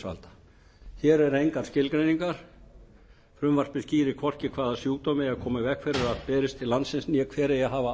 heilbrigðisyfirvalda hér eru engar skilgreiningarfrumvarpið skýrir hvorki hvaða sjúkdóma eigi að koma í veg fyrir að berist til landsins né hver eigi að hafa